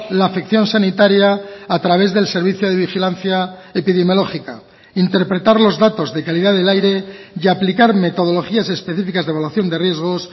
la afección sanitaria a través del servicio de vigilancia epidemiológica interpretar los datos de calidad del aire y aplicar metodologías específicas de evaluación de riesgos